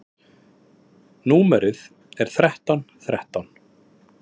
Númerið er þrettán þrettán.